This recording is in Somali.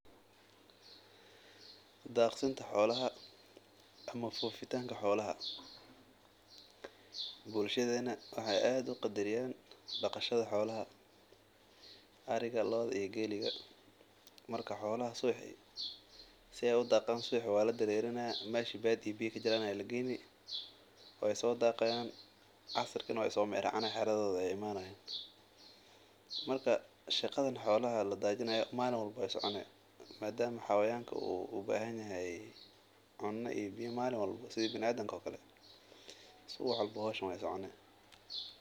Daqsinta xolaha ama fofitaanka xolaha, bulshada waxeey qadariyaan daqashada xolaha, subaxa waa la dareerini casirkina waa lakeene, malin walbo waay soconi madama xolaha aay ubahan yihiin coos iyo biya malin walba waay soconi.